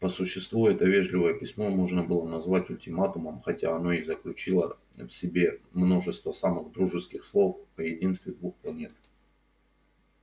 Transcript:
по существу это вежливое письмо можно было назвать ультиматумом хотя оно и заключало в себе множество самых дружеских слов о единстве двух планет